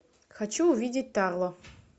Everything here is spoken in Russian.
хочу увидеть тарло